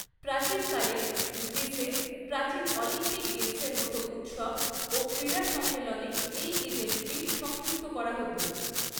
প্রাচীনকালে, গ্রীসে প্রাচীন অলিম্পিক গেমসের মতো উৎসব ও ক্রীড়া সম্মেলনে এই ইভেন্টটি সংযুক্ত করা হত।